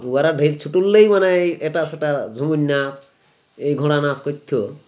উহারা ঢেক ছুটল্লাই মনে হয় এটা সেটা ঝুমুর নাচ এই ঘোড়ানাচ কইরতো